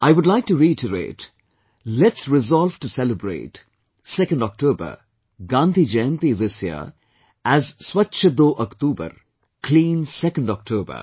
I would like to reiterate, let's resolve to celebrate, 2nd October Gandhi Jayanti this year as Swachch Do Aktoobar, Clean 2nd October